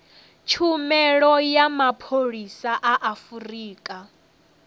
tshumelo ya mapholisa a afurika